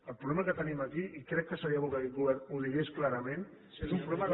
el problema que tenim aquí i crec que seria bo que aquest govern ho digués clarament és un problema de